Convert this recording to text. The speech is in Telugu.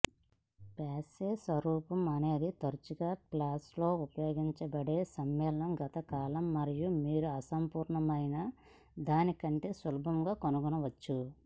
పాస్యే స్వరూపం అనేది తరచుగా ఫ్రెంచ్లో ఉపయోగించబడే సమ్మేళనం గత కాలము మరియు మీరు అసంపూర్ణమైనదాని కంటే సులభంగా కనుగొనవచ్చు